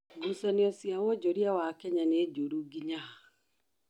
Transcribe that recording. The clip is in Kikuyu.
Ngucanĩo cĩa wonjorĩa wa Kenya nĩ njũrũ ngĩnya ha?